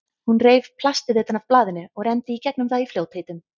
Hún reif plastið utan af blaðinu og renndi í gegnum það í fljótheitum.